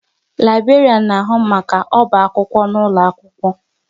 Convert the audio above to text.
Laiberian na ahu maka oba akwụkwọ ụlọ akwụkwọ